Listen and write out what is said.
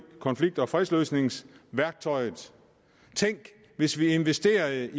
konflikt og fredsløsningsværktøjet tænk hvis vi investerede